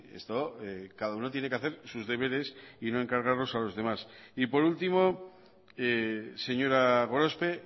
esto cada uno tiene que hacer sus deberes y no encargarlos a los demás y por último señora gorospe